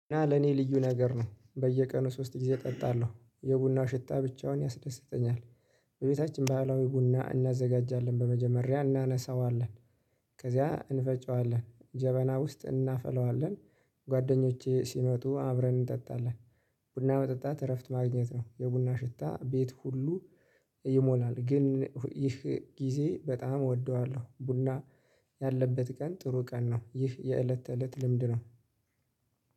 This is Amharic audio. እና ለኔ ልዩ ነገር ነው በየቀኑ ሶስት ጊዜ እጠጣለሁ የቡናው ሽታ ብቻውን ያስደስተኛል። በቤታችን ባህላዊ ቡና እናዘጋጃለን በመጀመሪያ እናነሳዋለን ከዚያ እንፈጨዋለን ጀበና ውስጥ እናፈላዋለን። ጓደኞቼ ሲመጡ አብረን እንጠጣለን። ቡና መጠጣት እረፍት ማግኘት ነው የቡና ሽታ ቤት ሁሉ። ይሞላል ግን ይህ ጊዜ በጣም እወደዋለሁ ቡና ያለበት ቀን ጥሩ ቀን ነው። ይህ የእለት ተእለት ልምድ ነው።